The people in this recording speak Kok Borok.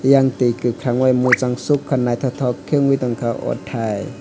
eyang tui kakorang bai muchangsoka naitotok ke ungoi tangka o tai.